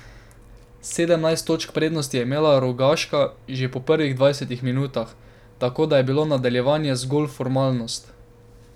Sedemnajst točk prednosti je imela Rogaška že po prvih dvajsetih minutah, tako da je bilo nadaljevanje zgolj formalnost.